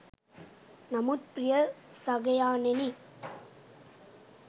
නමුත් ප්‍රිය සගයාණෙනි